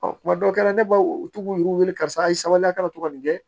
Ɔ kuma dɔ kɛra ne b'aw u to yɛrɛ wele karisa a ye sabali a kana to ka nin kɛ